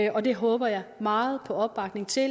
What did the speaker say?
og det håber jeg meget på opbakning til